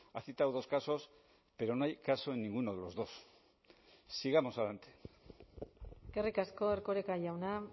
ha citado dos casos pero no hay caso en ninguno de los dos sigamos adelante eskerrik asko erkoreka jauna